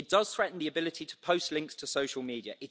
It does threaten the ability to post links to social media.